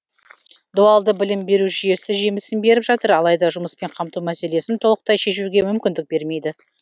дуалды білім беру жүйесі жемісін беріп жатыр алайда жұмыспен қамту мәселесін толықтай шешуге мүмкіндік бермейді